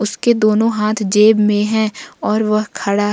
इसके दोनों हाथ जेब में है और वह खड़ा है।